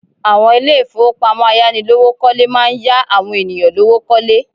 Àwọn Ilé ìfowópamọ́ ayánilówó kọ́lé máa ń yá àwọn ènìyàn lówó kọ́lé